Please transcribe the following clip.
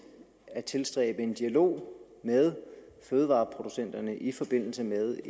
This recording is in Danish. at tilstræbe en dialog med fødevareproducenterne i forbindelse med